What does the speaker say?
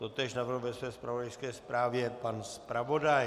Totéž navrhl ve své zpravodajské zprávě pan zpravodaj.